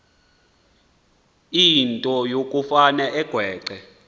into yokufane agweqe